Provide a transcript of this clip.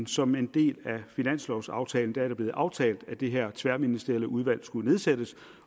som en del af finanslovaftalen hvor det er blevet aftalt at det her tværministerielle udvalg skulle nedsættes